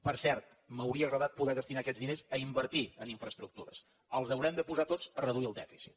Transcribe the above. per cert m’hauria agradat poder destinar aquests diners a invertir en infraestructures i els haurem de posar tots a reduir el dèficit